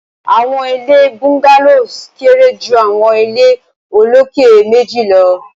awọn ile Bungalows kere ju awọn ile oloke meji lọ